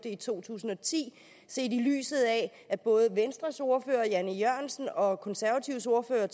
i to tusind og ti set i lyset af at både venstres ordfører herre jan e jørgensen og konservatives ordfører